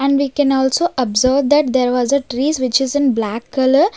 And we can also observe that there was a trees which is in black color.